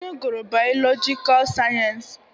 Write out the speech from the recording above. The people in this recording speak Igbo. Nne gụrụ biologicaal sayensị